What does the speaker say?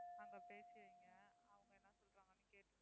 அங்க பேசி வைங்க. அவங்க என்ன சொல்றாங்கன்னு கேட்டுட்டு